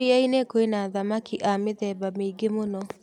Iria-inĩ kwĩna thamaki a mĩthemba mĩingĩ mũno.